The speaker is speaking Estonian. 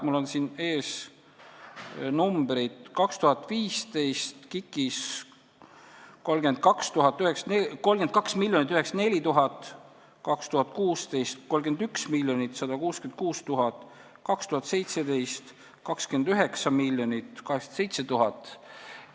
Mul on siin ees KIK-i numbrid: 2015 – 32 904 000, 2016 – 31 166 000, 2017 – 29 807 000.